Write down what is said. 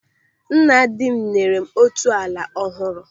Nna dị m nyere m otu ala ọhụrụ.